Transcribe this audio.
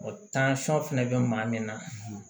O fɛnɛ bɛ maa min na